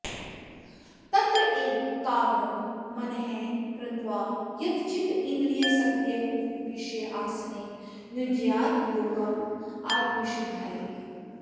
तत्र एकाग्रं मनः कृत्वा यतचित्तेन्द्रियक्रियः उपविश्य आसने युञ्ज्यात् योगम् आत्मविशुद्धये